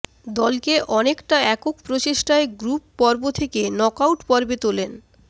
দলকে অনেকটা একক প্রচেষ্টায় গ্রুপপর্ব থেকে নকআউট পর্বে তোলেন